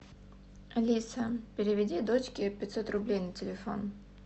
алиса переведи дочке пятьсот рублей на телефон